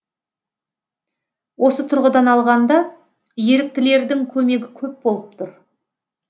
осы тұрғыдан алғанда еріктілердің көмегі көп болып тұр